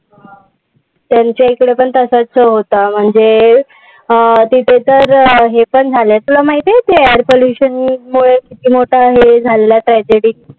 त्यांच्याइकडे पण असचं तर होता. म्हणजे अं तिथे तर हे पण झालेलं. तुला माहितीये air pollution मुळे किती मोठा हे झालेलं tragedy.